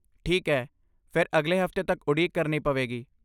ਠੀਕ ਹੈ, ਫਿਰ ਅਗਲੇ ਹਫ਼ਤੇ ਤੱਕ ਉਡੀਕ ਕਰਨੀ ਪਵੇਗੀ।